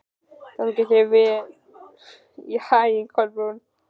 Gangi þér allt í haginn, Kolbrún.